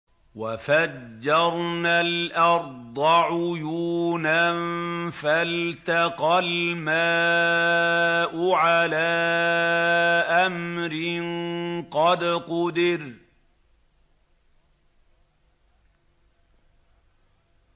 وَفَجَّرْنَا الْأَرْضَ عُيُونًا فَالْتَقَى الْمَاءُ عَلَىٰ أَمْرٍ قَدْ قُدِرَ